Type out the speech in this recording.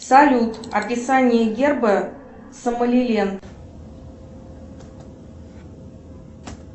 салют описание герба сомали лэнд